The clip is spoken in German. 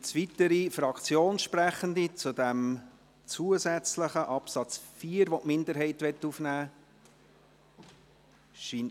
Gibt es weitere Fraktionssprechende zu diesem zusätzlichen Absatz 4, den die Minderheit aufnehmen möchte?